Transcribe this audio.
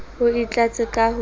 o e tlatse ka ho